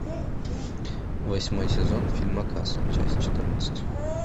восьмой сезон фильма касл часть четырнадцать